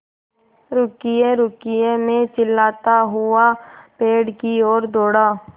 रुकिएरुकिए मैं चिल्लाता हुआ पेड़ की ओर दौड़ा